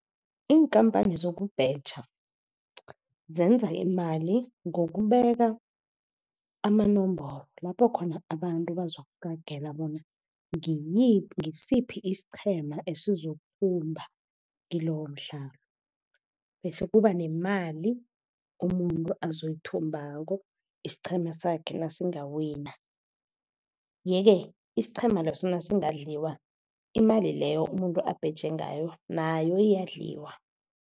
Iinkhamphani zokubheja zenza imali ngokubeka amanomboro, lapho khona abantu bazokuqagela bona ngisiphi isiqhema esizokuthumba kilowo mdlalo, bese kuba nemali umuntu azoyithumbako, isiqhema sakhe nasingawina. Ye-ke isiqhema leso nasingadliwa, imali leyo umuntu abheje ngayo nayo iyadliwa.